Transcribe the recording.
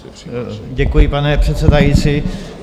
Děkuji, pane předsedající.